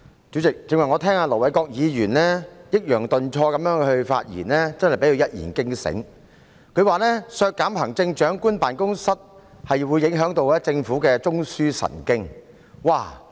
主席，我剛才聽到盧偉國議員抑揚頓挫地發言，真的被他一言驚醒，他表示削減行政長官辦公室的開支會影響政府的中樞神經。